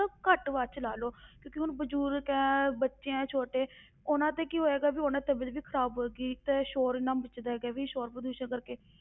ਮਤਲਬ ਘੱਟ ਆਵਾਜ਼ ਵਿੱਚ ਲਾ ਲਓ ਕਿਉਂਕਿ ਹੁਣ ਬਜ਼ੁਰਗ ਹੈ, ਬੱਚੇ ਹੈਂ ਛੋਟੇ, ਉਹਨਾਂ ਤੇ ਕੀ ਹੋਏਗਾ ਵੀ ਉਹਨਾਂ ਦੀ ਤਬੀਅਤ ਵੀ ਖ਼ਰਾਬ ਹੋਏਗੀ, ਤੇ ਸ਼ੌਰ ਇੰਨਾ ਮੱਚਦਾ ਹੈਗਾ ਵੀ ਸ਼ੌਰ ਪ੍ਰਦੂਸ਼ਣ ਕਰਕੇ